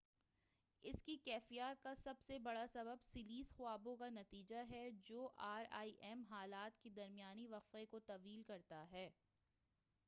اس کیفیت کا بڑا سبب سلیس خوابوں کا نتیجہ ہے جو آر ای ایم حالات کے درمیانی وقفہ کو طویل کرتا ہے